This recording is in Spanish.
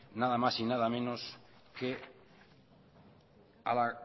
nada más y nada menos que a la